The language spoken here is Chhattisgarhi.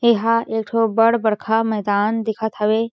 एहा एक ठो बड़ बड़खा मैदान दिखत हवे।